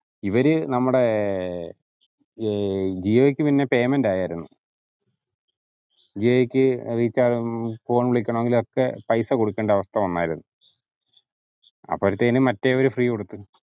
ഇവര് നമ്മുടെ ഏർ ജിയോക് പിന്ന payment ആയിരുന്നു. ജിയോയ്ക്ക് recharge മ്മ് phone വിളിക്കാനെങ്കിൽ ഒക്കെ പൈസ കൊടുക്കേണ്ട അവസ്ഥ വന്നതായിരുന്നു. അപ്പോഴത്തേനും മറ്റവര്‍ free കൊടുത്ത്